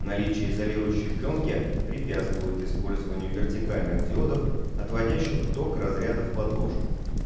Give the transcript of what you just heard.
наличие изолирующей плёнки препятствует использованию вертикальных диодов отводящих ток разряда в подложку